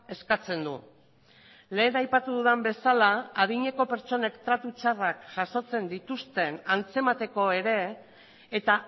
eskatzen du lehen aipatu dudan bezala adineko pertsonek tratu txarrak jasotzen dituzten antzemateko ere eta